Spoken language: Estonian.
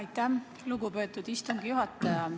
Aitäh, lugupeetud istungi juhataja!